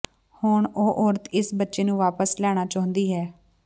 ਹੁਣ ਉਹ ਔਰਤ ਇਸ ਬੱਚੇ ਨੂੰ ਵਾਪਸ ਲੈਣਾ ਚਾਹੁੰਦੀ ਹੈ